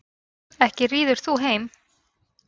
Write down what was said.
Ekki ríður þú þeim.